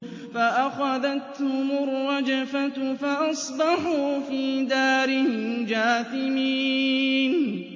فَأَخَذَتْهُمُ الرَّجْفَةُ فَأَصْبَحُوا فِي دَارِهِمْ جَاثِمِينَ